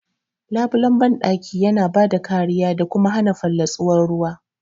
Labulen bandaki yana bada kariya da kuma hana fallatsuwar ruwa..